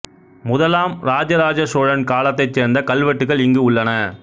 முதலாம் இராஜ ராஜ சோழன் காலத்தைச் சேர்ந்த கல்வெட்டுகள் இங்கு உள்ளன